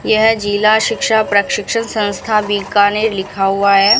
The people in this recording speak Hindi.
यह जिला शिक्षा प्रशिक्षण संस्था बीकानेर लिखा हुआ है।